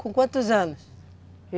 Com quantos anos?